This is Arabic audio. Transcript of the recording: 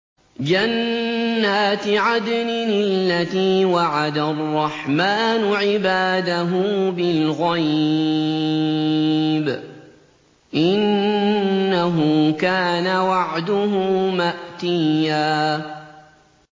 جَنَّاتِ عَدْنٍ الَّتِي وَعَدَ الرَّحْمَٰنُ عِبَادَهُ بِالْغَيْبِ ۚ إِنَّهُ كَانَ وَعْدُهُ مَأْتِيًّا